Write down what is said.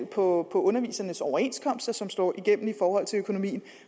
på undervisernes overenskomster som slår igennem i forhold til økonomien